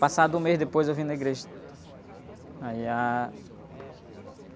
Passado um mês, depois, eu vim na igreja. Aí, a...